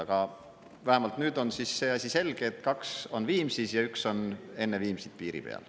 Aga vähemalt nüüd on siis see asi selge, et kaks on Viimsis ja üks on enne Viimsit piiri peal.